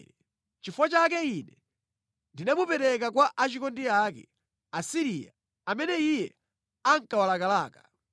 “Nʼchifukwa chake Ine ndinamupereka kwa achikondi ake, Asiriya, amene iye ankawalakalaka.